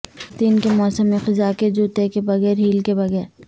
خواتین کے موسم خزاں کے جوتے کے بغیر ہیل کے بغیر